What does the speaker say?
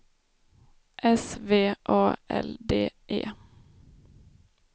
S V A L D E